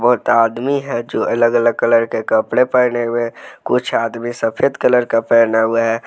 आदमी है जो अलग अलग कलर के कपड़े पहने हुए कुछ आदमी सफेद कलर का पहना हुआ है।